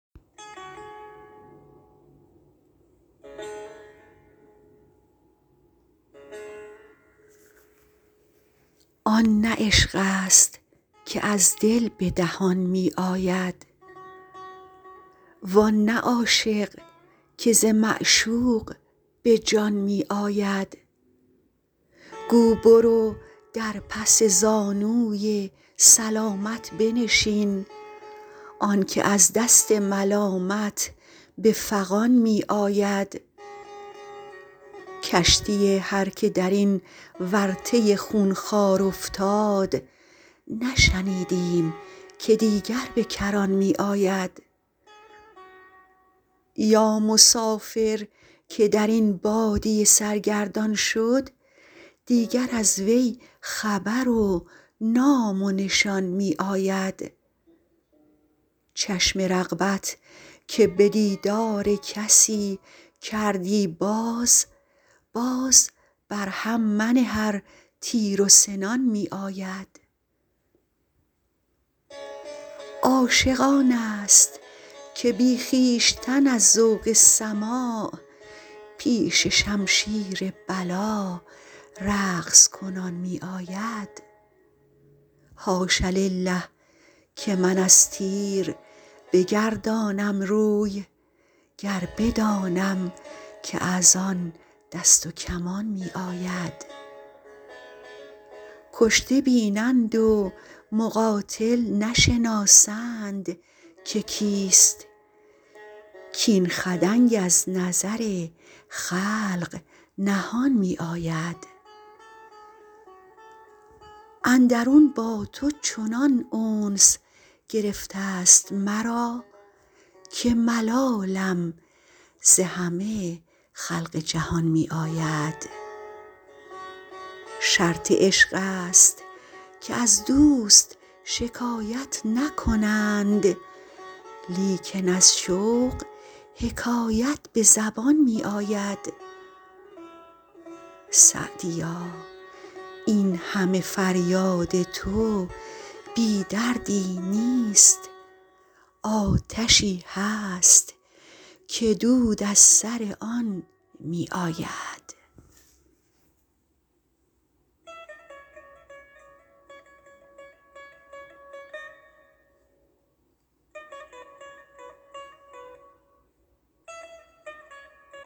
آن نه عشق است که از دل به دهان می آید وان نه عاشق که ز معشوق به جان می آید گو برو در پس زانوی سلامت بنشین آن که از دست ملامت به فغان می آید کشتی هر که در این ورطه خونخوار افتاد نشنیدیم که دیگر به کران می آید یا مسافر که در این بادیه سرگردان شد دیگر از وی خبر و نام و نشان می آید چشم رغبت که به دیدار کسی کردی باز باز بر هم منه ار تیر و سنان می آید عاشق آن است که بی خویشتن از ذوق سماع پیش شمشیر بلا رقص کنان می آید حاش لله که من از تیر بگردانم روی گر بدانم که از آن دست و کمان می آید کشته بینند و مقاتل نشناسند که کیست کاین خدنگ از نظر خلق نهان می آید اندرون با تو چنان انس گرفته ست مرا که ملالم ز همه خلق جهان می آید شرط عشق است که از دوست شکایت نکنند لیکن از شوق حکایت به زبان می آید سعدیا این همه فریاد تو بی دردی نیست آتشی هست که دود از سر آن می آید